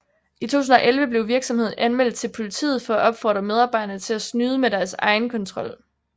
I 2011 blev virksomheden anmeldt til politiet for at opfordre medarbejderne til at snyde med deres egenkontrol